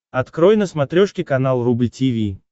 открой на смотрешке канал рубль ти ви